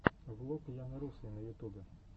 влог яны русой на ютубе